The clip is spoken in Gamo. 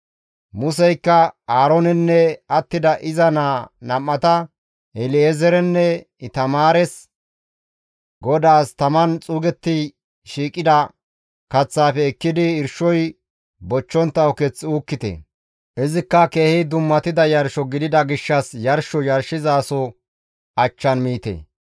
Museykka Aaroonenne attida iza naa nam7ata El7ezeerenne Itamaares, «GODAAS taman xuugetti shiiqida kaththaafe ekkidi irshoy bochchontta uketh uukkite; izikka keehi dummatida yarsho gidida gishshas yarsho yarshizasoza achchan miite.